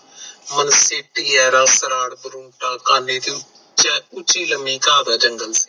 ਮਨੁੱਖੀ ਤੇ ਉੱਚੀ ਲੰਮੀ ਘਾਂ ਦਾ ਜਨਰਲ